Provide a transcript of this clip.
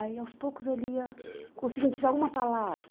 Aí, aos poucos, ele ia conseguindo tirar uma palavra.